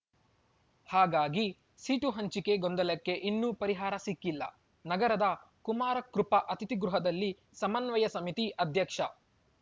ಹಾಗಾಗಿ ಸೀಟು ಹಂಚಿಕೆ ಗೊಂದಲಕ್ಕೆ ಇನ್ನೂ ಪರಿಹಾರ ಸಿಕ್ಕಿಲ್ಲ ನಗರದ ಕುಮಾರಕೃಪ ಅತಿಥಿಗೃಹದಲ್ಲಿ ಸಮನ್ವಯ ಸಮಿತಿ ಅಧ್ಯಕ್ಷ